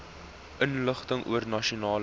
inligting oor nasionale